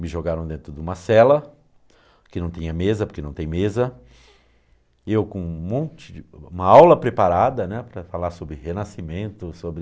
Me jogaram dentro de uma cela, que não tinha mesa, porque não tem mesa, e eu com um monte de... com uma aula preparada, né, para falar sobre renascimento, sobre...